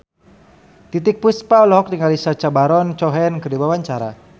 Titiek Puspa olohok ningali Sacha Baron Cohen keur diwawancara